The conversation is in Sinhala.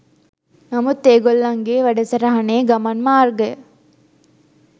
නමුත් ඒ ගොල්ලන්ගේ වැඩසටහනේ ගමන් මාර්ගය